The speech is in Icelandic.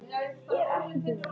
Er Selfoss grýla hjá Fram?